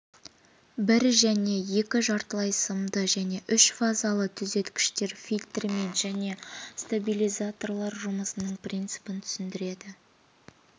бір және екі жартылай сымды және үшфазалы түзеткіштер фильтрлер мен стабилизаторлар жұмысының принципін түсіндіреді